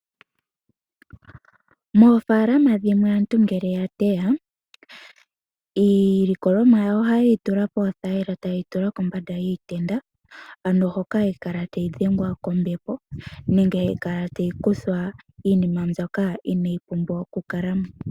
Moofaalama dhimwe aantu ngele ya teya, iilikolomwa yawo ohaye yi tula poothayila taye yi tula kombanda yiitenda, ano hoka hayi kala tayi dhengwa kombepo nenge hayi kala tayi kuthwa iinima mbyoka inayi pumbiwa okukala mo.